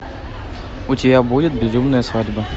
у тебя будет безумная свадьба